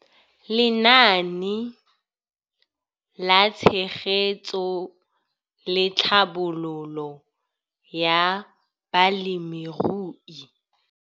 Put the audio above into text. Lenaane la Tshegetso le Tlhabololo ya Balemirui